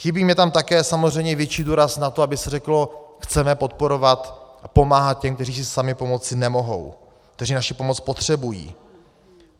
Chybí mně tam také samozřejmě větší důraz na to, aby se řeklo: chceme podporovat a pomáhat těm, kteří si sami pomoci nemohou, kteří naši pomoc potřebují.